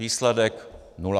Výsledek: nula.